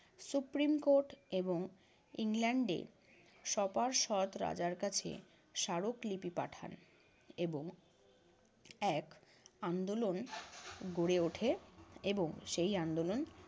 supreme court এবং ইংল্যান্ডে সপার্দষ রাজার কাছে স্মারকলিপি পাঠান এবং এক আন্দোলন গড়ে উঠে এবং সেই আন্দোলন